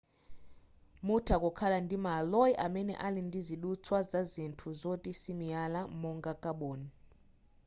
mutha kukhala ndi ma alloy amene ali ndizidutswa za zinthu zoti simiyala monga kaboni